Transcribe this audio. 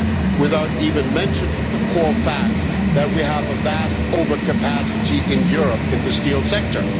without even mentioning the core fact that we have vast overcapacity in Europe in the steel sector.